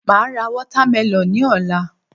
Màá ra watermelon ní òla